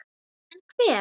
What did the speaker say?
En hver?